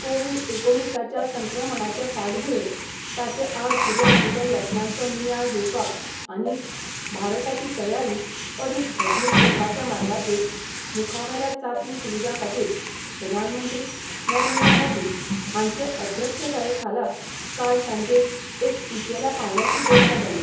Covid एकोणिसाच्या संक्रमणाचे फाटभुंयेर ताचे आड सुरू आशिल्ल्या यत्नांचो नियाळ घेवपाक आनी भारताची तयारी अदीक घटमूट करपाच्या मार्गाचेर मुखावेल्या चांचणी सुविधा खातीर प्रधानमंत्री नरेंद्र मोदी हांचे अध्यक्षताये खाला काल सांजे एक उंचेल्या पांवड्याची बसका जाली.